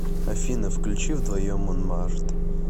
афина включи вдвоем монмарт